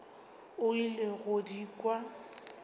o ile go di kwa